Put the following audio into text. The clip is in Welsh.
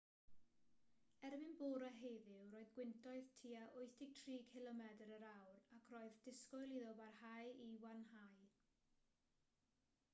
erbyn bore heddiw roedd gwyntoedd tua 83 cilomedr yr awr ac roedd disgwyl iddo barhau i wanhau